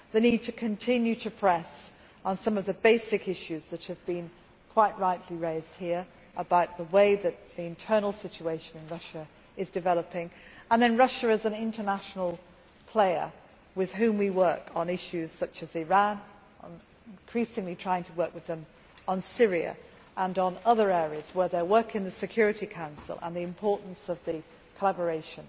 we see the need to continue to press on some of the basic issues that have been quite rightly raised here about the way that the internal situation in Russia is developing. Then there is Russia as an international player with whom we work on issues such as Iran. We are increasingly trying to work with it on Syria and on other areas where working together in the Security Council and the importance of collaboration